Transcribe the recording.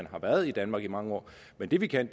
har været i danmark i mange år men det vi kan